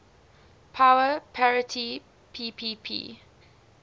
power parity ppp